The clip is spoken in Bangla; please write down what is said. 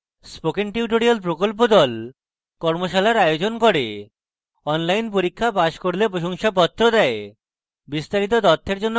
spoken tutorial প্রকল্প the কর্মশালার আয়োজন করে অনলাইন পরীক্ষা পাস করলে প্রশংসাপত্র দেয়